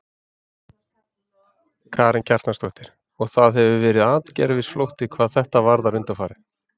Karen Kjartansdóttir: Og það hefur verið atgervisflótti hvað þetta varðar undanfarið?